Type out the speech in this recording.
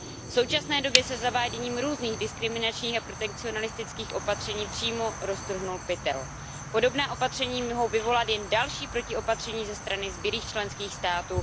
V současné době se se zaváděním různých diskriminačních a protekcionistických opatření přímo roztrhnul pytel. Podobná opatření mohou vyvolat jen další protiopatření ze strany zbylých členských států.